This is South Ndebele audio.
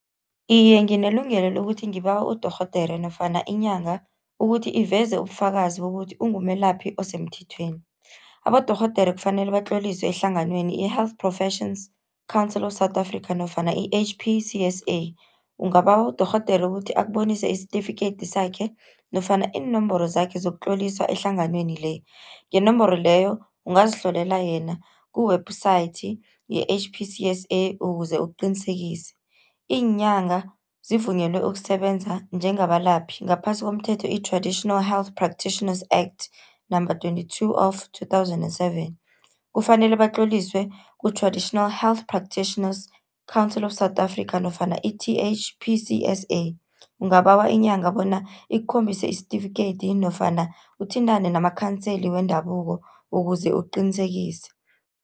Iye, nginelungelo lokuthi ngibawe udorhodere nofana inyanga, ukuthi iveze ubufakazi bokuthi ungumelaphi osemthethweni. Abodorhodere kufanele batloliswe ehlanganweni i-Health Professions Council of South Africa nofana i-H_P_C_S_A. Ungabawa udorhodere ukuthi akubonise isitifikedi sakhe nofana iinomboro zakhe zokutloliswa ehlanganweni le. Ngenomboro leyo ungazihlolela yena ku-website ye-H_P_C_S_A, ukuze uqinisekise. Iinyanga zivunyelwe ukusebenza njengabalaphi ngaphasi komthetho, i-Traditional Health Practitioners act number twenty-two of two thousand and seven, kufanele batloliswe ku-Traditional Health Practitioners Council of South Africa nofana i-T_H_P_C_S_A, ungabawa inyanga bona ikukhombise isitifikedi nofana uthintane namakhanseli wendabuko ukuze uqinisekise.